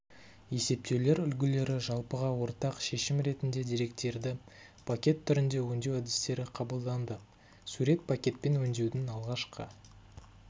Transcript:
есептеулер үлгілері жалпыға ортақ шешім ретінде деректерді пакет түрінде өңдеу әдістері қабылданды сурет пакетпен өңдеудің алғашқы